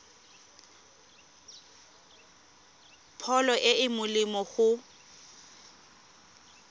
pholo e e molemo go